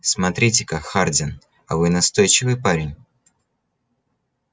смотрите-ка хардин а вы настойчивый парень